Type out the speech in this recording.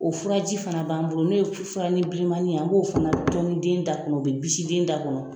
O furaji fana b'an bolo n'o ye furunin bilemani ye an b'o fana tɔni den da kɔnɔ o bɛ bisi den da kɔnɔ.